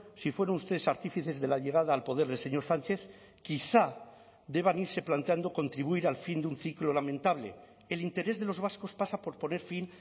si fueron ustedes artífices de la llegada al poder del señor sánchez quizá deban irse planteando contribuir al fin de un ciclo lamentable el interés de los vascos pasa por poner fin